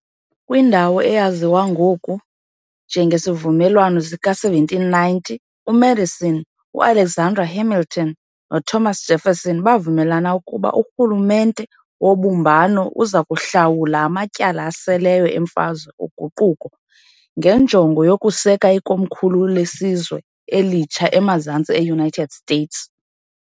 Kwindawo eyaziwa ngoku njengesiVumelwano sika-1790, uMadison, uAlexander Hamilton, noThomas Jefferson bavumelana ukuba urhulumente wobumbano uzakuhlawula amatyala aseleyo eMfazwe oguquko ngenjongo yokuseka ikomkhulu lesizwe elitsha eMazantsi eUnited States.